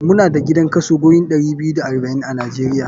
Mu da idan kaso wurin ɗari biyu da arba'in a nijeria.